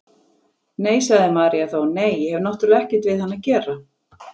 Nei, sagði María þá, nei, ég hef náttúrlega ekkert við hann að gera.